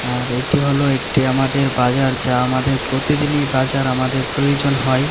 আর এটি হল একটি আমাদের বাজার যা আমাদের প্রতিদিনই বাজার আমাদের প্রয়োজন হয়।